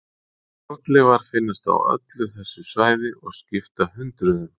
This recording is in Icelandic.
Fornleifar finnast á öllu þessu svæði og skipta hundruðum.